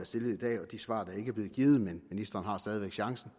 stillet i dag og de svar der ikke er blevet givet men ministeren har stadig væk chancen